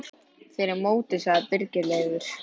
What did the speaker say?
Fyrir mótið sagði Birgir Leifur.